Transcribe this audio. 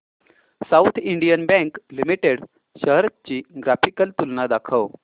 south Indian bank limited shares ची graphical तुलना दाखव